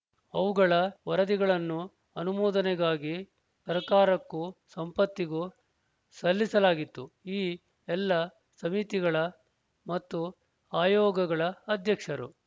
ಅವುಗಳ ವರದಿಗಳನ್ನು ಅನುಮೋದನೆಗಾಗಿ ಸರ್ಕಾರಕ್ಕೂ ಸಂಪತ್ತಿಗೂ ಸಲ್ಲಿಸಲಾಗಿತ್ತು ಈ ಎಲ್ಲ ಸಮಿತಿಗಳ ಮತ್ತು ಆಯೋಗಗಳ ಅಧ್ಯಕ್ಷರು